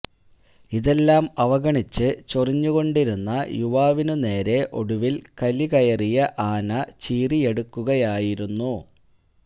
ഇതെല്ലാം അവഗണിച്ച് ചൊറിഞ്ഞു കൊണ്ടിരുന്ന യുവാവിനു നേരെ ഒടുവിൽ കലികയറിയ ആന ചീറിയടുക്കുകയായിരുന്നു